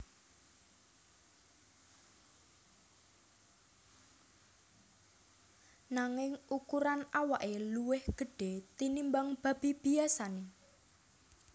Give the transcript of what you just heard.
Nanging ukuran awake luwih gedhe tinimbang babi biyasane